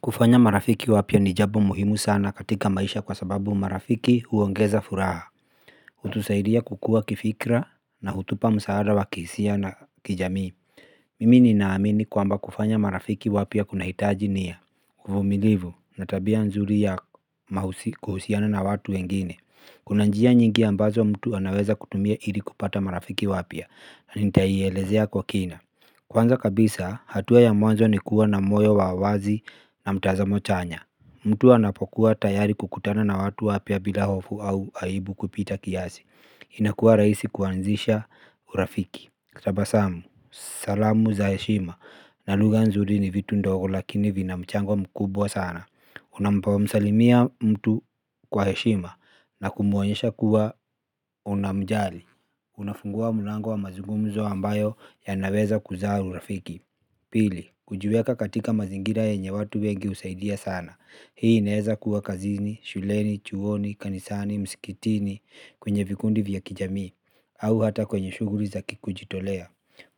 Kufanya marafiki wapya ni jabo muhimu sana katika maisha kwa sababu marafiki huongeza furaha. Hutusaidia kukua kifikra na hutupa msaada wa kiisia na kijamii. Mimi ni naamini kwamba kufanya marafiki wapya kunahitaji nia uvumilivu na tabia nzuri ya kuhusiana na watu wengine. Kuna njia nyingi ambazo mtu anaweza kutumia ili kupata marafiki wapya. Na nitaielezea kwa kina. Kwanza kabisa, hatua ya mwanzo ni kuwa na moyo wa wazi na mtazamo chanya. Mtu anapokuwa tayari kukutana na watu wapya bila hofu au aibu kupita kiasi. Inakuwa raisi kuanzisha urafiki. Kutabasamu, salamu za heshima. Na lugha nzuri ni vitu ndogo lakini vina mchango mkubwa sana. Unampomsalimia mtu kwa heshima na kumuonyesha kuwa unamjali. Unafungua mulango wa mazugumzo ambayo yanaweza kuzaa urafiki. Pili, kuijweka katika mazingira yenye watu wengi husaidia sana. Hii inaeza kuwa kazini, shuleni, chuoni, kanisani, mskitini kwenye vikundi vya kijamii au hata kwenye shuguri za ki kujitolea.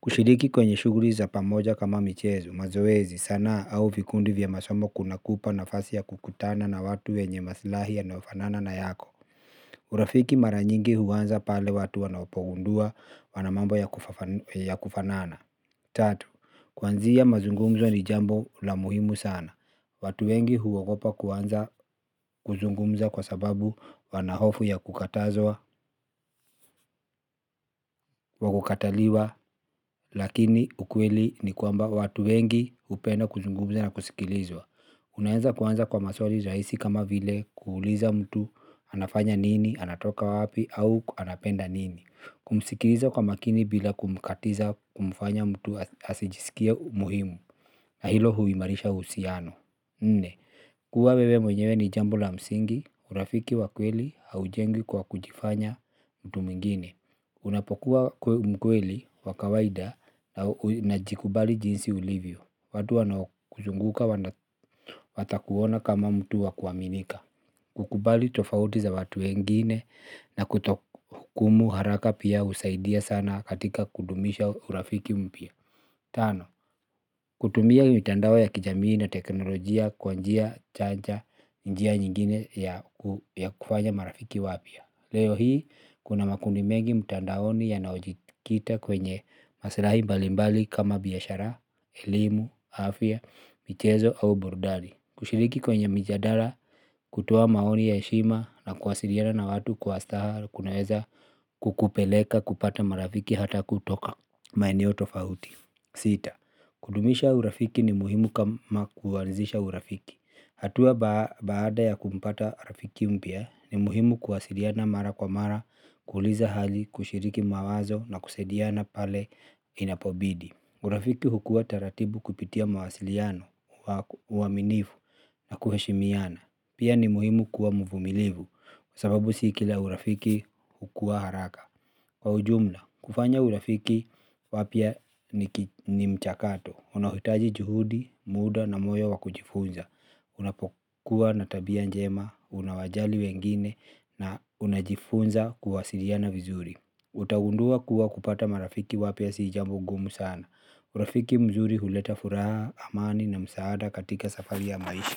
Kushiriki kwenye shuguri za pamoja kama michezo mazoezi sanaa au vikundi vya masomo kunakupa nafasi ya kukutana na watu wenye maslahi yanaofanana na yako. Urafiki mara nyingi huanza pale watu wanapogundua wana mambo ya kufanana. Tatu, kwanzia mazungumzo ni jambo la muhimu sana. Watu wengi huogopa kuanza kuzungumza kwa sababu wana hofu ya kukatazwa wa kukataliwa. Lakini ukweli ni kwamba watu wengi hupenda kuzungumza na kusikilizwa. Unaeza kuanza kwa maswari raisi kama vile kuuliza mtu anafanya nini anatoka wapi au anapenda nini. Kumsikiriza kwa makini bila kumkatiza kumfanya mtu asijisikie umuhimu. Na hilo huimarisha uhusiano nne, kuwa wewe mwenyewe ni jambo la msingi, urafiki wa kweli haujengwi kwa kujifanya mtu mwingine. Unapokuwa mkweli wa kawaida na jikubali jinsi ulivyo. Watu wanaokuzunguka watakuona kama mtu wa kuaminika. Kukubali tofauti za watu wengine na kutohukumu haraka pia husaidia sana katika kudumisha urafiki mpya. Tano, kutumia ii mitandao ya kijamii na teknolojia kwa njia chanja njia nyingine ya kufanya marafiki wapya. Leo hii, kuna makundi mengi mtandaoni yanayojikita kwenye masilahi mbalimbali kama biashara, elimu, afya, mchezo au burudani. Kushiriki kwenye mijadara, kutoa maoni ya heshima na kuwasiliana na watu kwa astaha kunaeza kukupeleka kupata marafiki hata kutoka maeneo tofauti. Sita, kudumisha urafiki ni muhimu kama kuwanzisha urafiki. Hatua baada ya kumpata rafiki mpya ni muhimu kuwasiliana mara kwa mara, kuuliza hali, kushiriki mawazo na kusaidiana pale inapobidi. Urafiki hukua taratibu kupitia mawasiliano uaminifu na kuheshimiana. Pia ni muhimu kuwa mvumilivu, sababu si kila urafiki hukua haraka. Kwa ujumla, kufanya urafiki wapya ni mchakato, unaohitaji juhudi, muda na moyo wa kujifunza. Unapokuwa na tabia njema, unawajali wengine na unajifunza kuwasiliana vizuri. Utagundua kuwa kupata marafiki wapya sii jambo gumu sana. Urafiki mzuri huleta furaha, amani na msaada katika safari ya maisha.